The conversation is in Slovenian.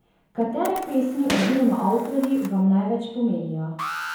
Katere pesmi oziroma avtorji vam največ pomenijo?